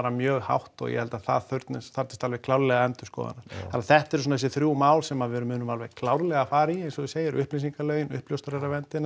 mjög hátt og ég held að það þarfnist alveg klárlega endurskoðunar þannig að þetta eru svona þessi þrjú mál sem að við munum alveg klárlega fara í eins og þú segir upplýsingalögin